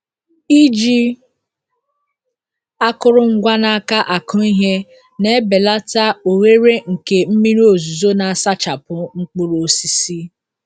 Iji akụrụngwa n’aka akụ ihe na-ebelata ohere nke mmiri ozuzo na-asachapụ mkpụrụ osisi.